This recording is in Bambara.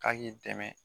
K'a k'i dɛmɛ